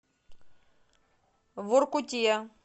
воркуте